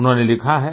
उन्होंने लिखा है